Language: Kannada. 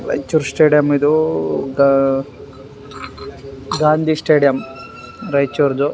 ರೈಚೂರ್ ಸ್ಟೇಡಿಯಮ್ ಇದು ಅ ಗಾಂದಿ ಸ್ಟೇಡಿಯಮ್ ರೈಚೂರ್ದು.